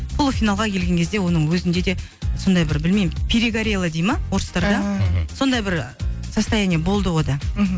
полуфиналға келген кезде оның өзінде де сондай бір білмеймін перегорела дейді ма орыстарда да мхм сондай бір состояние болды онда мхм